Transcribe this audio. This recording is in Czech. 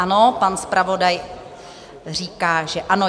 Ano, pan zpravodaj říká, že ano.